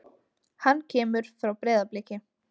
Hann kemur frá Breiðabliki.